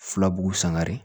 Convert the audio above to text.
Filabu sangare